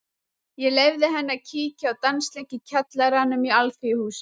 Ég leyfði henni að kíkja á dansleik í kjallaranum í Alþýðuhúsinu.